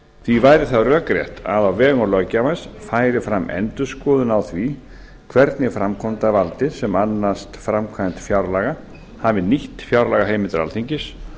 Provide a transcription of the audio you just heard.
því væri það rökrétt að á vegum löggjafans færi fram endurskoðun á því hvernig framkvæmdarvaldið sem annast framkvæmd fjárlaga hafi nýtt fjárlagaheimildir alþingis